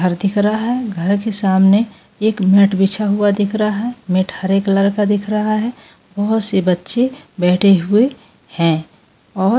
घर दिख रहा है घर के सामने एक मेट बिछा हुआ दिख रहा है मेट हरे कलर का दिख रहा है बहुत से बच्चे बैठे हुए हैं और --